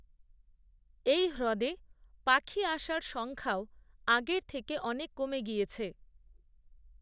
এই হ্রদে পাখি আসার সংখ্যাও আগের থেকে অনেক কমে গিয়েছে